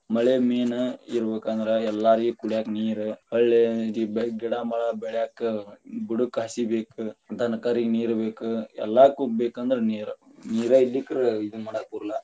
ಮಳೆ main ಇರಬೇಕ ಅಂದ್ರ ಎಲ್ಲರಿಗೂ ಕುಡ್ಯಾಕ ನೀರ, ಹೊಳ್ಳಿ ಗಿಡಾ ಮರಾ ಬೆಳ್ಯಾಕ ಬುಡಕ್ಕ ಹಸಿ ಬೇಕ, ದನಕರಗ ನೀರ ಬೇಕ ಎಲ್ಲಾಕು ಬೇಕಂದ್ರ ನೀರ, ನೀರ ಇರಲಿಕ್ಕರ ಇದನ್ನ ಮಾಡಾಕ ಬರುಲ್ಲಾ.